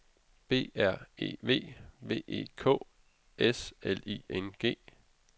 B R E V V E K S L I N G